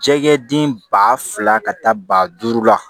Jɛgɛ den ba fila ka taa ba duuru la